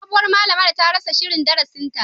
Sabuwar malamar ta rasa shirin darasinta